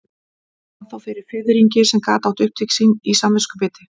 Hann fann þó fyrir fiðringi sem gat átt upptök sín í samviskubiti.